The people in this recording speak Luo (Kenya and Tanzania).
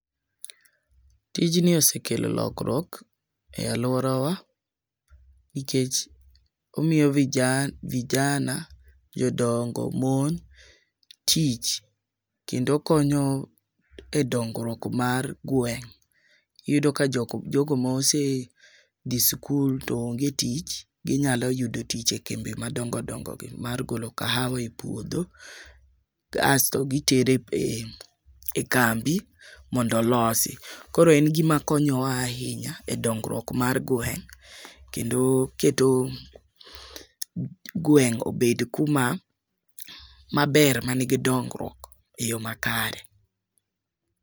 Tij ni osekelo lokruok e aluorawa nikech omiyo vija vijana yudo mon tich kendo okonyo e dongruok mar gweng'. Iyudo ka jok jogo mosedhi sikul to onge tich, ginyalo yudo tich e kembe madongodongo mar golo kahawa e puodho asto gitere kambi mondo olosi. Koro en gima konyowa ahinya e dongruok mar gweng' kendo keto gweng' obed kuma maber manigi dongruok e yo makare.